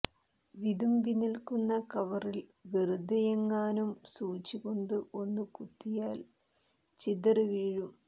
വിതുമ്പി നിൽക്കുന്ന കവറിൽ വെറുതെയെങ്ങാനും സൂചികൊണ്ട് ഒന്നു കുത്തിയാൽ ചിതറി വീഴും